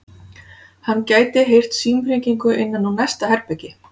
Hann gæti heyrt símhringingu innan úr næsta herbergi.